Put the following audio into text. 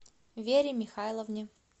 вере михайловне